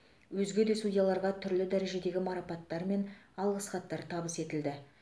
өзге де судьяларға түрлі дәрежедегі марапаттар мен алғыс хаттар табыс етілді